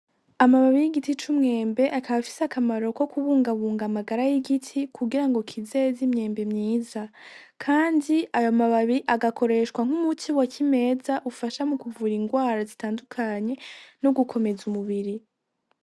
Amababi y'igiti c'umwembe akaba afise akamaro ko kubungabunga amagara y' igiti kugira ngo kizeze imyembe myiza kandi ayo mababi agakoreshwa nk'umuti wa kimeza ufasha mukuvura ingwara zitandukanye n' ugukomeza umubiri.